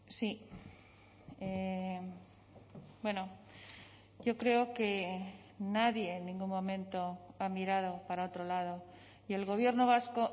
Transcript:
sí bueno yo creo que nadie en ningún momento ha mirado para otro lado y el gobierno vasco